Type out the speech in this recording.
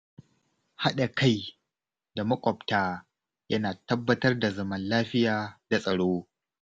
Haɗa kai da maƙwabta yana tabbatar da zaman lafiya da tsaro.